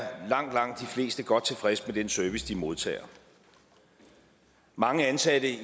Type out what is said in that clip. godt tilfreds med den service de modtager mange ansatte